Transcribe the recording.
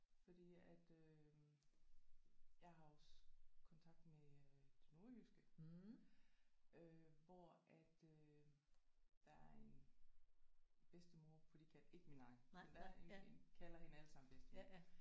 Fordi at øh jeg har også kontakt med øh det nordjyske øh hvor at øh der er en bedstemor på de kant ikke min egen men der er en en vi kalder hende alle sammen bedstemor